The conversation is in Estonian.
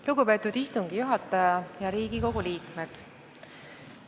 Lugupeetud istungi juhataja ja Riigikogu liikmed!